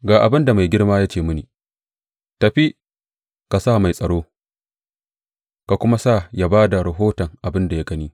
Ga abin da mai girma ya ce mini, Tafi, ka sa mai tsaro ka kuma sa ya ba da rahoton abin da ya gani.